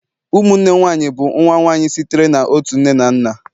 ụmụnne nwanyị bụ nwa nwanyị sitere na otu nne na nna